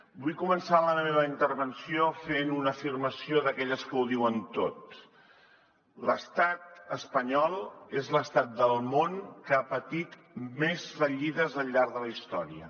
vull començar la meva intervenció fent una afirmació d’aquelles que ho diuen tot l’estat espanyol és l’estat del món que ha patit més fallides al llarg de la història